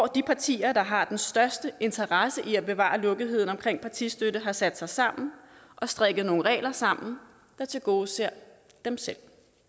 de partier der har størst interesse i at bevare lukketheden om partistøtte har sat sig sammen og strikket nogle regler sammen der tilgodeser dem selv